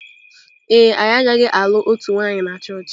Ee e, anyị agaghị alụ otu nwanyị na chọọchị.